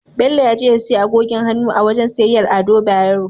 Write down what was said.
Bello ya je ya siyo agogin hannu a wajen siyayyar Ado Bayero.